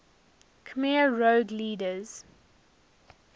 khmer rouge leaders